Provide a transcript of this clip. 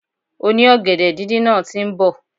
Oni ògèdè díndín náà ti nbò